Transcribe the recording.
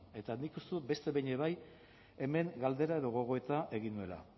eta nik uste dut beste behin be bai hemen galdera edo gogoeta egin nuela